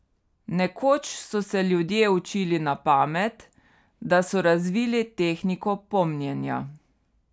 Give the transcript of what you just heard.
Nekoč so se ljudje učili na pamet, da so razvili tehniko pomnjenja.